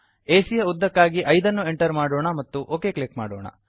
ಎಸಿಯ ಯ ಉದ್ದಕ್ಕಾಗಿ 5 ಅನ್ನು ಎಂಟರ್ ಮಾಡೋಣ ಮತ್ತು ಒಕ್ ಕ್ಲಿಕ್ ಮಾಡೋಣ